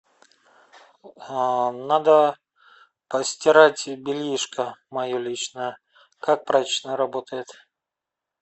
а надо постирать бельишко мое личное как прачечная работает